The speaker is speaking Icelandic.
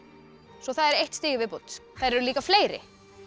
svo það er eitt stig í viðbót þær eru líka fleiri